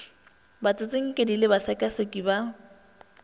ba batsinkedi le basekaseki ba